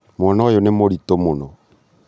mwana ũyũ nĩ mũritũ mũno